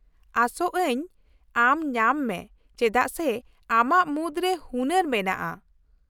-ᱟᱥᱚᱜ ᱟᱹᱧ ᱟᱢ ᱧᱟᱢ ᱢᱮ ᱪᱮᱫᱟᱜ ᱥᱮ ᱟᱢᱟᱜ ᱢᱩᱫᱨᱮ ᱦᱩᱱᱟᱹᱨ ᱢᱮᱱᱟᱜᱼᱟ ᱾